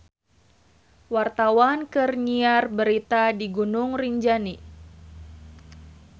Wartawan keur nyiar berita di Gunung Rinjani